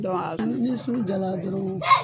Dɔn a ni sugu jala dɔrɔn